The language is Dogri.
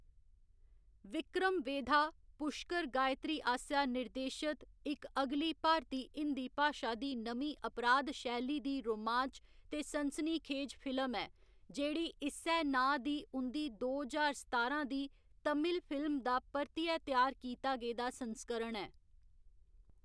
विक्रम वेधा, पुश्कर गायत्री आसेआ निर्देशत इक अगली भारती हिंदी भाशा दी नमीं अपराध शैली दी रोमांच ते सनसनीखेज फिल्म ऐ, जेह्‌‌ड़ी इस्सै नांऽ दी उं'दी दो ज्हार सतारां दी तमिल फिल्म दा परतियै त्यार कीता गेदा संस्करण ऐ।